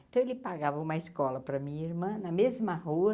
Então ele pagava uma escola para a minha irmã na mesma rua.